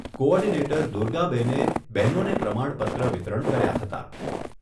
Coordinator દુર્ગાબેને બહેનોને પ્રમાણપત્ર વિતરણ કર્યા હતા.